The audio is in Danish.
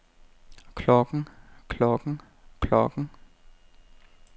klokken klokken klokken